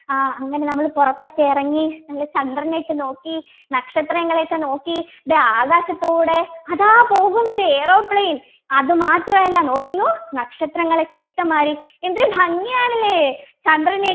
ആഹ് അങ്ങനെ നമ്മൾ പുറത്തൊക്കെ ഇറങ്ങി നല്ല ചന്ദ്രനെയൊക്കെ നോക്കി നക്ഷത്രങ്ങളെയൊക്കെ നോക്കി ഇത് ആകാശത്തുകൂടെ അതാ പോകുന്നു ഒരു Aeroplane അതുമാത്രമല്ല നോക്കുന്നു നക്ഷത്രങ്ങൾ ഒക്കെ ഇഷ്ടം മാതിരി എന്തൊരു ഭംഗിയാണ് അല്ലേ ചന്ദ്രനെ